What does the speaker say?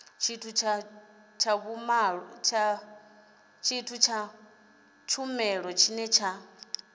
tshithu tsha vhumalo tshine tsha